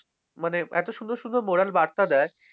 মানে এত সুন্দর সুন্দর moral বার্তা দেয়